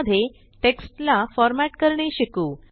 मध्ये टेक्स्ट ला फॉरमॅट करणे शिकू